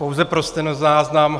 Pouze pro stenozáznam.